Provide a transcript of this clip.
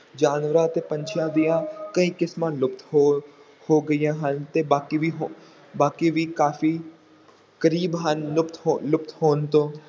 ਜਾਨਵਰਾਂ ਅਤੇ ਪੰਛੀਆਂ ਦੀਆਂ ਕਈ ਕਿਸਮਾਂ ਲੁਪਤ ਹੋ ਹੋ ਗਈਆਂ ਹਨ, ਤੇ ਬਾਕੀ ਵੀ ਹੋ, ਬਾਕੀ ਵੀ ਕਾਫ਼ੀ ਕਰੀਬ ਹਨ, ਲੁਪਤ ਹੋ~ ਲੁਪਤ ਹੋਣ ਤੋਂ